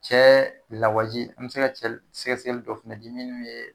Cɛ lawaji an be se ka cɛ sɛkɛsɛkɛli dɔ fɛnɛ di minnu be